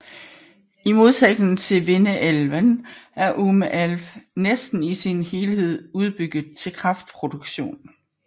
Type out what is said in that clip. I modsætning til Vindelälven er Ume älv næsten i sin helhed udbygget til kraftproduktion